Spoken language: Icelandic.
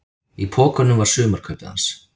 Í pokunum var sumarkaupið hans.